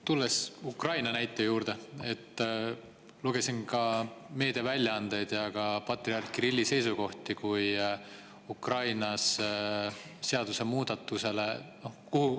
Tulles Ukraina näite juurde, lugesin meediaväljaandeid ja ka patriarh Kirilli seisukohti Ukraina seadusemuudatuse kohta.